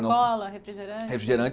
Cola, refrigerante? refrigerante